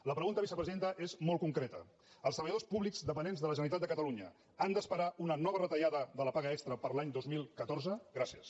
la pregunta vicepresidenta és molt concreta els tre·balladors públics dependents de la generalitat de cata·lunya han d’esperar una nova retallada de la paga extra per a l’any dos mil catorze gràcies